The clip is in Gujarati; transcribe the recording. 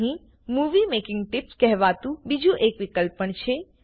અહીં મૂવી મેકિંગ ટિપ્સ કહેવાતું બીજું એક વિકલ્પ પણ છે